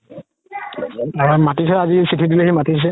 মাতিছে আজি চিথি দি মাতিছে